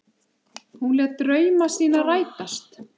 Hún lét drauma sína rætast.